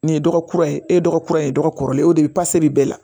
Nin ye dɔgɔ kura ye e ye dɔgɔkura ye dɔgɔ kɔrɔlen o de bɛ pase de bɛɛ la